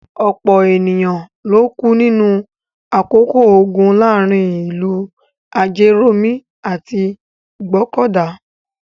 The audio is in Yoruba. Ọ̀pọ̀ ènìyàn ló kú ní àkókò ogun láàárin ìlú Ajérọ̀mí àti Ìgbọ́kọ̀dà.